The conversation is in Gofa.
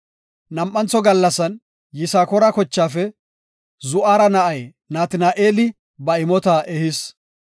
Nam7antho gallasan Yisakoora kochaafe Zu7ara na7ay Natina7eeli ba imota ehis.